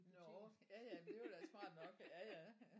Nåh ja ja men det var da smart nok ja ja ja